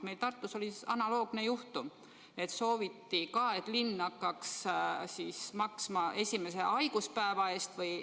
Meil Tartus oli analoogne juhtum: sooviti ka, et linn hakkaks maksma esimest haiguspäeva.